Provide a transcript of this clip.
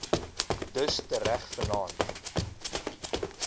dus tereg vannaand